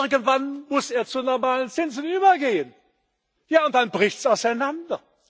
Aber irgendwann muss er zu normalen Zinsen übergehen, und dann bricht es auseinander.